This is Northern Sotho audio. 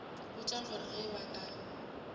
botša gore ge ba ka